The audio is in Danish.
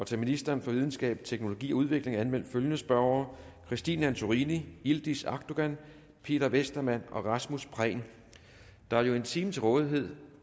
til ministeren for videnskab teknologi og udvikling er anmeldt følgende spørgere christine antorini yildiz akdogan peter westermann rasmus prehn der er jo en time til rådighed